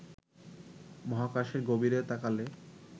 মহাকাশের গভীরে তাকালে